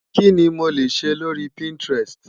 Kí ni mo lè ṣe lórí Pinterest?